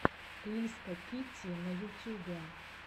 лиска китти на ютюбе